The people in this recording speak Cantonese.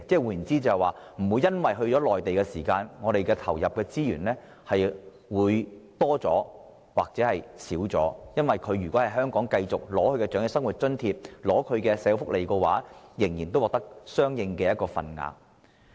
換言之，不會因為長者返回內地養老，而令我們投入的資源有所增加或減少，只要長者繼續在香港領取長者生活津貼、各項社會福利，他們仍可獲得相應的份額。